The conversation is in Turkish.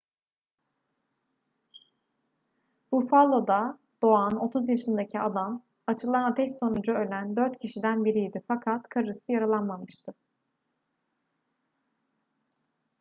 buffalo'da doğan 30 yaşındaki adam açılan ateş sonucu ölen dört kişiden biriydi fakat karısı yaralanmamıştı